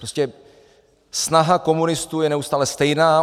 Prostě snaha komunistů je neustále stejná.